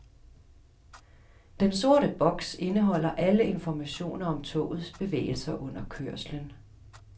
Den sorte boks indeholder alle informationer om togets bevægelser under kørslen.